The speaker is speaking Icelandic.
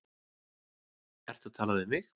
Ertu að tala við mig?